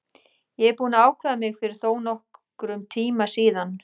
Ég er búinn að ákveða mig fyrir þónokkrum tíma síðan.